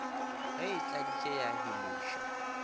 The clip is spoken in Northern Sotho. ge e tladitše ya biloša